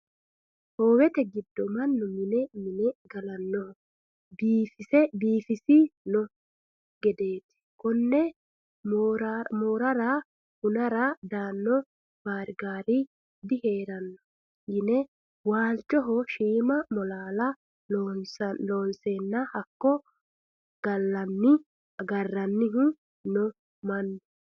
Howete giddoni mannu mine mi'ne gallanoha biifisi no gedeti kone moorara hunara daano baarigari diheerano yine waalchoho shiima molalla loonsenna hakko galanni agaranohu no mannu.